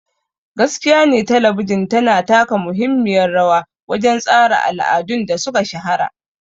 Gaskiyane Talabijin tana taka muhimmiyar rawa wajen tsara al'adun da suka shahara.